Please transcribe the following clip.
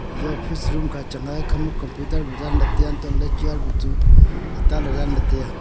eja office room kha changnga ekhha ma computer wai daanle tai aa hantole chair buchu ataa le daan le tai aa